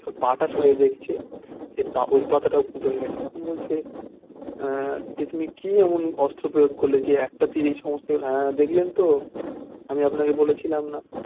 পাতা ঝরে দেখছে ওই পাতাটাও ফুটো হয়ে গেছে তখন বলছে আহ এ তুমি কি এমন অস্ত্র প্রয়োগ করলে যে একটা তীরেই সমস্ত হ্যাঁ দেখলেন তো আমি আপনাকে বলেছিলাম না